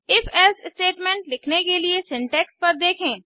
IfElse statement लिखने के लिए सिंटैक्स पर देखें